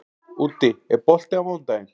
Úddi, er bolti á mánudaginn?